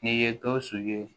N'i ye gawusu ye